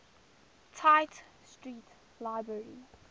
tite street library